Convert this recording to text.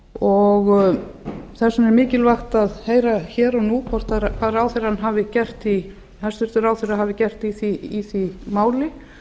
og þess vegna er mikilvægt að heyra hér og nú hvað hæstvirtur ráðherra hafi gert í því máli